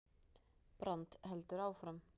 Brand heldur áfram